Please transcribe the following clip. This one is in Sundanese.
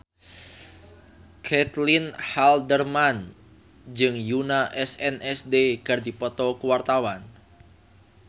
Caitlin Halderman jeung Yoona SNSD keur dipoto ku wartawan